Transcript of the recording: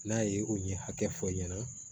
N'a ye o ɲɛ hakɛ fɔ i ɲɛna